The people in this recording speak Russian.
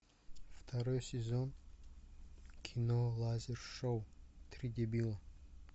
второй сезон кино лазер шоу три дебила